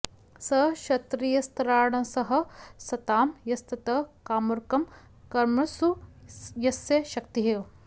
स क्षत्त्रियस्त्राणसहः सतां यस्तत् कार्मुकं कर्मसु यस्य शक्तिः